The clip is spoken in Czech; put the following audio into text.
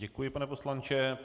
Děkuji, pane poslanče.